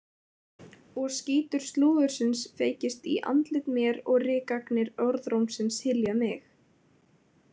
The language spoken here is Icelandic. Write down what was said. Og skítur slúðursins feykist í andlit mér og rykagnir orðrómsins hylja mig.